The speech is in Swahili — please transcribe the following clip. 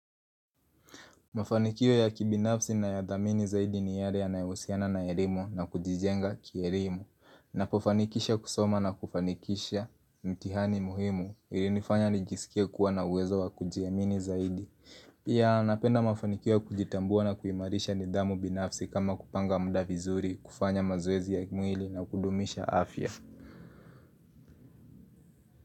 Mafanikio ya kibinafsi na ya damini zaidi ni yale ya nayehusiana na elimu na kujijenga kielimu. Napofanikisha kusoma na kufanikisha mtihani muhimu ilinifanya nijisikie kuwa na uwezo wa kujiamini zaidi. Pia napenda mafanikio kujitambua na kuimarisha ni damu binafsi kama kupanga muda vizuri, kufanya mazoezi ya kimwili na kudumisha afya.